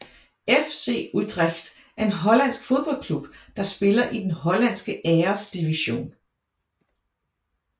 FC Utrecht er en hollandsk fodboldklub der spiller i den hollandske Æresdivision